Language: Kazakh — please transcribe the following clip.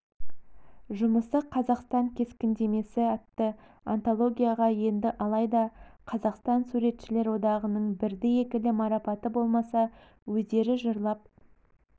жұмысы қазақстан кескіндемесі атты антологияға енді алайда қазақстан суретшілер одағының бірді-екілі марапаты болмаса өздері жырлап